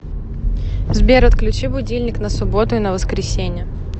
сбер отключи будильник на субботу и на воскресенье